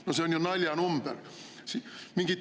No see on ju naljanumber!